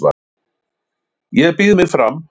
Ég býð mig fram